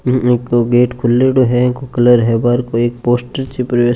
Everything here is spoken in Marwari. एक गेट खुल्लेडो है इको कलर है पोस्टर छिप रियो ए।